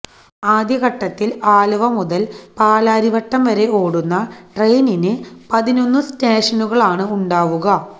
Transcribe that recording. ആദ്യഘട്ടത്തില് ആലുവ മുതല് പാലാരി വട്ടം വരെ ഓടുന്ന ട്രെയിനിന് പതിനൊന്ന് സ്റ്റേഷനുകളാണ് ഉണ്ടാവുക